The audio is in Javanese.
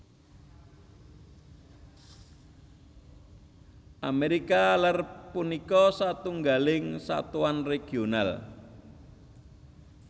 Amérika Lèr punika setunggaling satuan regional